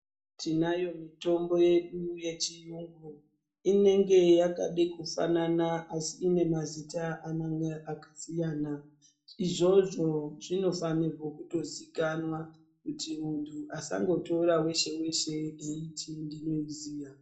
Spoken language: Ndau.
Tinayo mitombo yedu yechiyungu inenge yakade kufanana asi inemazita amweni akasiyana, izvozvo zvinofanirwa kutozikanwa kuti muntu asangotora weshe weshe wechingezi.